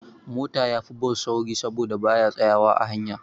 Mota yafi Bus sauri saboda baya tsayawa a hanaya